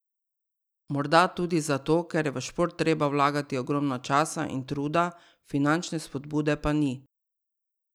Morda tudi zato, ker je v šport treba vlagati ogromno časa in truda, finančne spodbude pa ni.